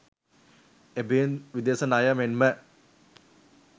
එබැවින් විදේශ ණය මෙන්ම